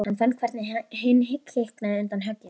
Hann fann hvernig hinn kiknaði undan högginu.